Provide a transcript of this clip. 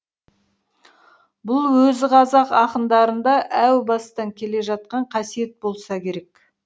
бұл өзі қазақ ақындарында әу бастан келе жатқан қасиет болса керек